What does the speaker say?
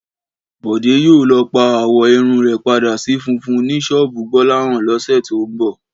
Bọ̀dé yóò lọ pa àwọ̀ irun rẹ̀ padà sí funfun ní ṣọ́ọ̀bù Gbọ́láhàn lọ́sẹ̀ tó ń bọ̀